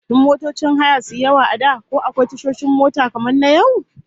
Kafin motocin haya suyi yawa a da, ko akwai tashoshin mota kamar na yau?